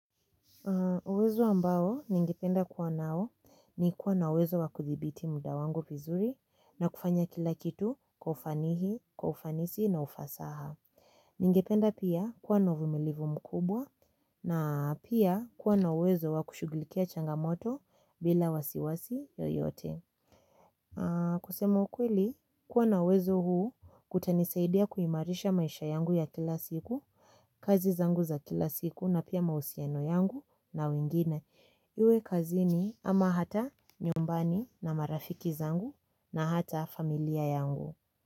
Uwezo ambao ningependa kuwa nao ni kuwa na uwezo wa kuthibiti muda wangu vizuri na kufanya kila kitu kwa ufanihi, ufanisi na ufasaha. Ningependa pia kuwa na uvumilivu mkubwa na pia kuwa na uwezo wa kushughulikia changa moto bila wasiwasi yoyote. Kusema ukweli, kuwa na uwezo huu kutanisaidia kuimarisha maisha yangu ya kila siku, kazi zangu za kila siku na pia mahusiano yangu na wengine. Iwe kazini ama hata nyumbani na marafiki zangu na hata familia yangu.